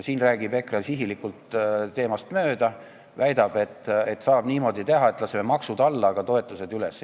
EKRE räägib sihilikult teemast mööda, kui väidab, et saab niimoodi teha, et laseme maksud alla ja suurendame toetusi.